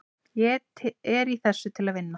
Ég er í þessu til að vinna.